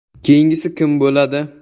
Keyingisi kim bo‘ladi?